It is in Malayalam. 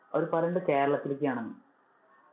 അവര് പറയുന്നത് കേരളത്തിലേക്ക് ആണെന്ന്.